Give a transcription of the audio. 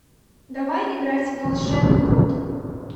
давай играть в волшебный бот